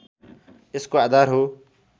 यसको आधार हो